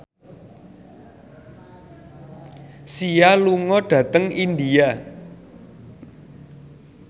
Sia lunga dhateng India